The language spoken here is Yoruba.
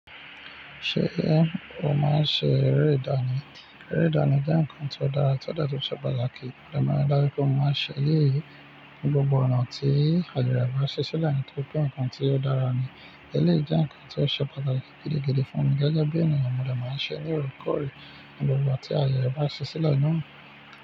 Ṣé ẹ máa ń ṣe eré ìdánì? Eré ìdánì jẹ́ nǹkan tió dára, tó dẹ̀ tún ṣe pàtàkì. Mo dẹ̀ máa rí dájú pé mo máa ń ṣe eléyí ní gbogbo ọ̀nà tí àyè rẹ̀ bá ṣẹ́ sílẹ̀, nítorí pé nǹkan tí ó dára ni. Eléyìí jẹ́ nǹkan tí ó ṣe pàtàkì gidigidi fún mi gẹ́gẹ́ bí ènìyàn, mo dẹ̀ máa ń ṣe é ní òrékòrè ní gbogbo ìgbà tí àyè rẹ̀ bá ṣẹ́ sílẹ̀ náà.